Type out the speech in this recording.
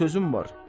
Bir sözüm var.